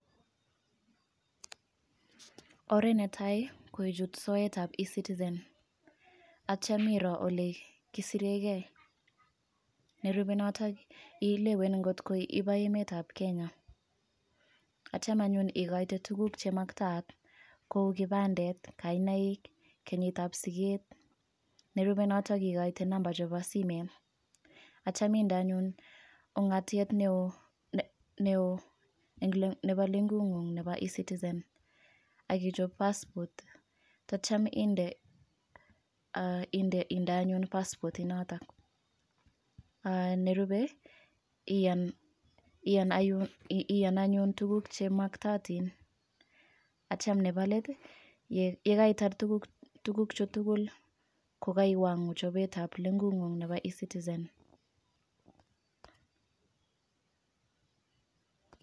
Oret netai koichut soetab ecitizen, ak yeityoo iroo olekisirengee, nerube notok ilewen angot ko iboo emetab kenyaa. Yeityoo anyone ikoitei tuguuk chemogootin, kou kipandet, maintain, kenyitab siget. Nerube notok ikoitei nambaa chebo simet. Ak yeityo inde anyone ungatiet neo nebo lengung'uuk nebo ecitizen. Ak kichop passport, time under anyun passport inotok, ak nerubee Ian anyun tuguuk chemagootin. Ak yeityo Nebo let yekaitar tuguchu tugul kokaiwangu chobetablenguukung Nebo ecitizen